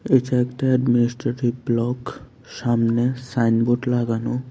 এটা একটা administrative block সামনে সাইনবোর্ড লাগানো।